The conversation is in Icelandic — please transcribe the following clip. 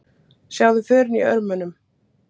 Sjáðu förin í örmunum.